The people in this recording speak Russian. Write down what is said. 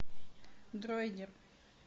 дроидер